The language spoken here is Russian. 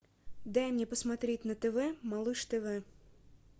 дай мне посмотреть на тв малыш тв